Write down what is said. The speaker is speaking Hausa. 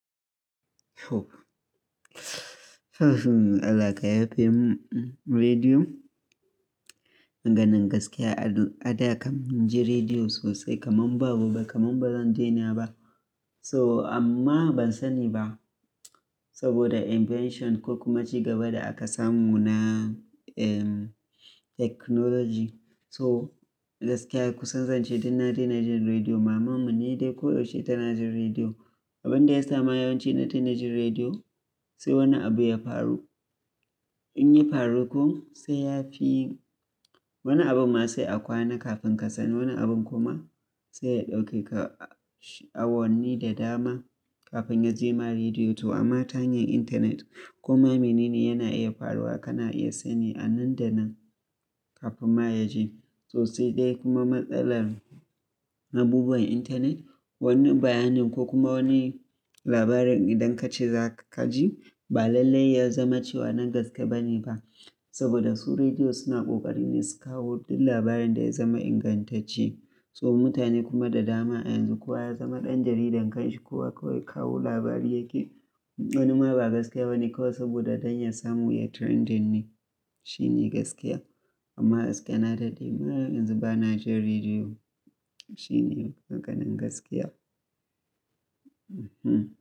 Allah ka yafi rediyo. Maganin gaskiya, a da kam mun ji rediyo sosai kamar babu ba, kamar ba zan dena ba. So amma ban sani ba saboda invention ko kuma ci gaba da aka samu na, technology. So gaskiya ku sanzance, dun na dena jin rediyo, mamanmu ne dai koyaushe tana jin rediyo. Abin da yasa ma yawanci na tuna jin rediyo, sai wani abu ya faru. In ya faru kuma, sai ya fi wani abun ma sai a kwana kafin ka sani. Wani abun kuma sai ya ɗauke ka a wonni da dama kafin ya je ma rediyo. To amma hanyar intanet kuma menene yana iya faruwa kana iya sani a nan da nan kafin ma ya je. Tsosai dai kuma matsalar abubuwan intanet, wani bayanin ko kuma wani labarin idan ka ce za ka ji, ba lallai ya zama cewa na gaskiya bane ba. Saboda su rediyo suna kokari ne su kawo duk labarin da ya zama ingantacce. So mutane kuma da dama a yanzu ko ya zama ɗan jaridan kan shi ko kuwa kawai kawo labari yake, wani ma ba gaskiya bane kawai saboda don ya samu ya trending ne. Shi ne gaskiya. Amma gaskiya na dade ma yanzu ba na ji rediyo. Shi ne maganan gaskiya.